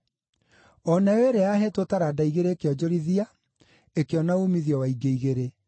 O nayo ĩrĩa yaheetwo taranda igĩrĩ ĩkĩonjorithia ĩkĩona uumithio wa ingĩ igĩrĩ.